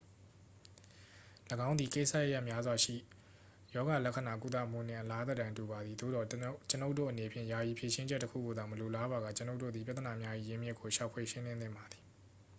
၎င်းသည် ကိစ္စရပ်များစွာရှိ ရောဂါလက္ခဏာကုသမှုနှင့် အလားသဏ္ဍာန်တူပါသည် သို့သော် ကျွန်ုပ်တို့အနေဖြင့် ယာယီဖြေရှင်းချက်တစ်ခုကိုသာ မလိုလားပါက ကျွန်ုပ်တို့သည် ပြဿနာများ၏ ရင်းမြစ်ကို ရှာဖွေ ရှင်းလင်းသင့်ပါသည်